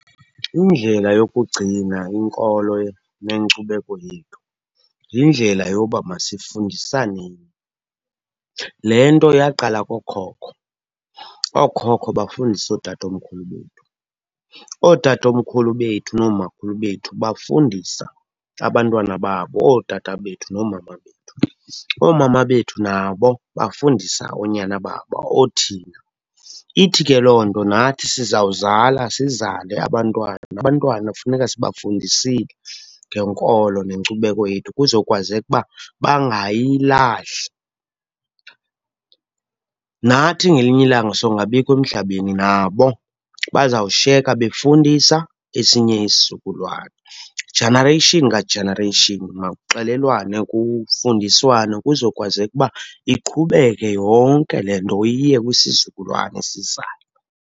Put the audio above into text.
Indlela yokugcina inkolo nenkcubeko yethu yindlela yoba masifundisaneni. Le nto yaqala kookhokho, ookhokho bafundisa ootatomkhulu bethu. Ootatomkhulu bethu noomakhulu bethu bafundisa abantwana babo, ootata bethu noomama bethu. Oomama bethu nabo bafundisa oonyana babo, othina. Ithi ke loo nto nathi sizawuzala sizale abantwana, abantwana funeka sibafundisile ngenkolo nenkcubeko yethu kuzokwazeka uba bangayilahli. Nathi ngelinye ilanga songabikho emhlabeni, nabo bazawushiyeka befundisa esinye isizukululwana. Generation nga-generation makuxelelwane kufundiswane kuzokwazeka uba iqhubeke yonke le nto iye kwisizukulwana esizayo.